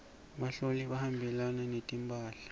buhlalu buhambelana netimphahla